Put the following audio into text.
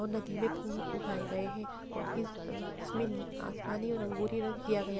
नदी में फुल उगाये गए है। और इस इसमें आसमानी और रंगोली रंग किया गया --